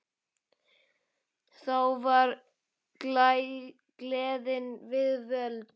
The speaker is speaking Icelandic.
Þá var gleðin við völd.